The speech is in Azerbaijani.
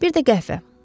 Bir də qəhvə.